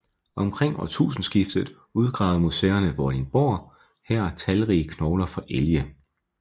Omkring årtusindskiftet udgravede Museerne Vordingborg her talrige knogler fra elge